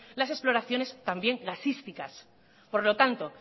las exploraciones también gasísticas por lo tanto